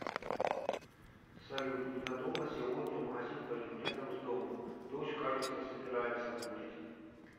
салют ненадолго сегодня в магазин пойду рядом с домом дождь кажется собирается будет